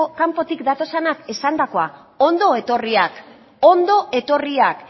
kanpotik datozenak esandakoa ondo etorriak ondo etorriak